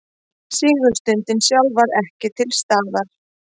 Sigurstundin sjálf var ekki til staðar